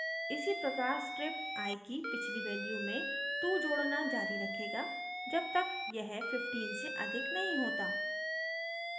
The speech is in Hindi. इसी प्रकार script i की पिछली value में 2 जोडना जारी रखेगा जब तक यह 15 से अधिक नहीं होता